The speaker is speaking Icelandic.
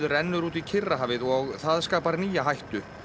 rennur út í Kyrrahafið og það skapar nýja hættu